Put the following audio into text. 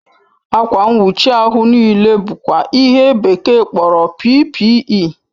Akwa nwuchi ahu n'ile bụkwa ihe bekee kpọrọ PPE